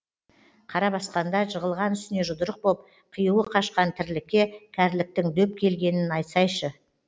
қара басқанда жығылған үстіне жұдырық боп қиюы қашқан тірлікке кәріліктің дөп келгенін айтсайшы